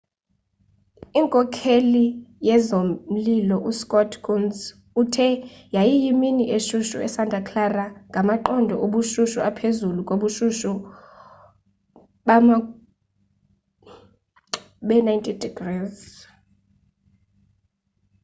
inkokheli yezomlilo uscott kouns uthe yayiyimini eshushu esanta clara ngamaqondo obushushu aphezulu kubushushu bee-90